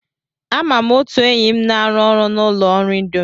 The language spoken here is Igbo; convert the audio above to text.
Ama m otu enyi m na-arụ ọrụ na ụlọ ọrụ Indomi.